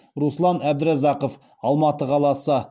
руслан әбдіразақов алматы қаласы